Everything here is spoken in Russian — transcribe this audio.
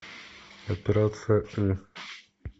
операция ы